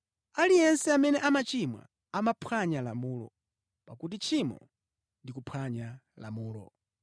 Aliyense amene amachimwa amaphwanya lamulo; pakuti tchimo ndi kuphwanya lamulo.